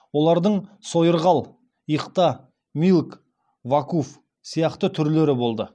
олардың сойырғал иқта милк вакуф сияқты түрлері болды